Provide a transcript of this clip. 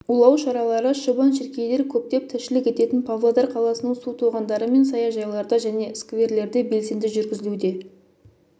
улау шаралары шыбын-шіркейлер көптеп тіршілік ететін павлодар қаласының су тоғандары мен саяжайларда және скверлерде белсенді жүргізілуде